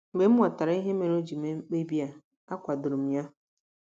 Mgbe m ghọtara ihe mere o ji mee mkpebi a, akwadoro m ya.